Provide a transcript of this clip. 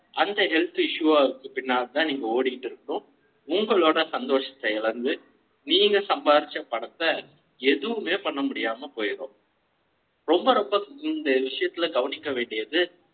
அந்த health issue பின்னால் தான் நீங்க ஓடிட்டு இருக்கோம் உங்களோட சந்தோஷத்தை இழந்து நீங்க சம்பாரிச்ச பனத்த எதுவுமே பண்ண முடியாம போயிடு ம்.